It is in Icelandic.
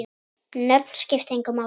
Nöfn skipta engu máli.